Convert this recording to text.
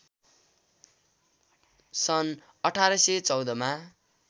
सन् १८१४ मा